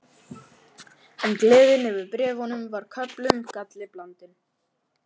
En gleðin yfir bréfunum var með köflum galli blandin.